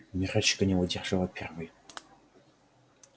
мирочка не выдержала первой